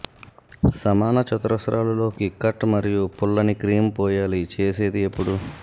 సమాన చతురస్రాలు లోకి కట్ మరియు పుల్లని క్రీమ్ పోయాలి చేసేది ఎప్పుడు